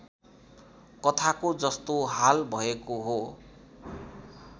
कथाको जस्तो हाल भएको हो